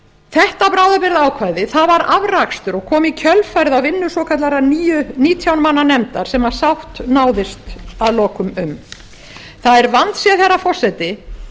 þetta bráðabirgðaákvæði var afrakstur og kom í kjölfarið á vinnu svokallaðrar nítján manna nefndar sem sátt náðist að lokum um það er vandséð herra forseti